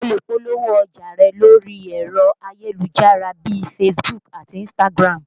O lè polówó ọjà rẹ lórí ẹ̀rọ ayélujára bíi Facebook àti Instagram